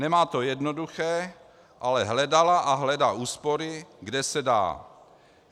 Nemá to jednoduché, ale hledala a hledá úspory, kde se dá.